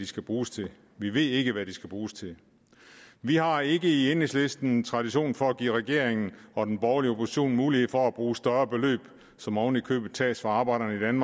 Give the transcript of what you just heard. skal bruges til vi ved ikke hvad de skal bruges til vi har ikke i enhedslisten tradition for at give regeringen og den borgerlige opposition mulighed for at bruge større beløb som oven i købet tages fra arbejderne